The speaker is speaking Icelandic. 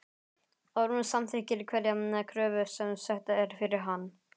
Ormur samþykkir hverja kröfu sem sett er fyrir hann.